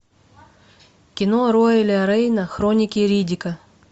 кино рояля рейна хроники риддика